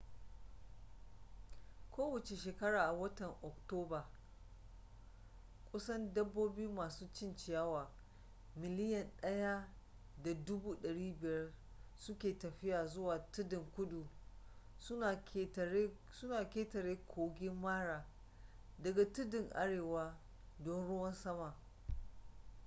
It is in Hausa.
kowace shekara a watan oktoba kusan dabbobi masu cin ciyawa miliyan 1.5 suke tafiya zuwa tuddan kudu suna ƙetare kogin mara daga tuddan arewa don ruwan sama